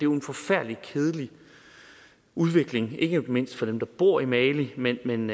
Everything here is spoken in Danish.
en forfærdelig kedelig udvikling ikke mindst for dem der bor i mali men men